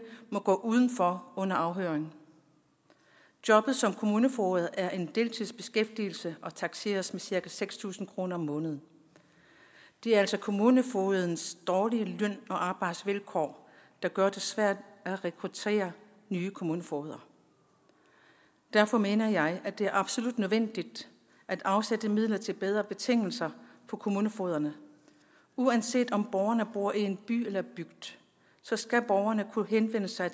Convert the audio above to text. må gå udenfor under afhøringen jobbet som kommunefoged er en deltidsbeskæftigelse og takseres med cirka seks tusind kroner om måneden det er altså kommunefogedens dårlige løn og arbejdsvilkår der gør det svært at rekruttere nye kommunefogeder derfor mener jeg at det er absolut nødvendigt at afsætte midler til bedre betingelser for kommunefogederne uanset om borgerne bor i en by eller i en bygd skal borgerne kunne henvende sig